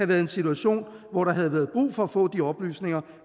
været en situation hvor der havde været brug for at få de oplysninger